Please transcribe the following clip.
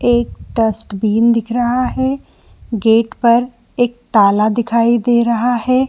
एक डस्टबिन दिख रहा है गेट पर एक ताला दिखाई दे रहा है।